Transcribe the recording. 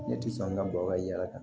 Ne tɛ sɔn ka bɔ ka yala ka